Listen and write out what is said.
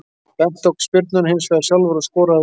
Bent tók spyrnuna hinsvegar sjálfur og skoraði af öryggi.